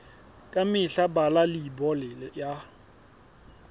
ka mehla bala leibole ya